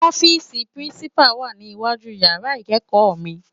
Òfisi Pirincipá wá ni iwájú iyàrá ikékò mi